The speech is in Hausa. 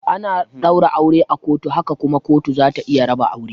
Ana daura aure a kotu haka kuma kotu zata iya raba aure.